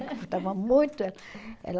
Ela estava muito ela